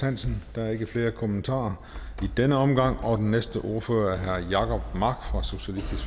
hansen der er ikke flere kommentarer i denne omgang den næste ordfører er herre jacob mark